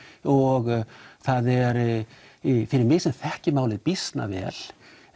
og fyrir mig sem þekki málið býsna vel